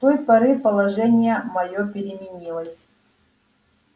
с той поры положение моё переменилось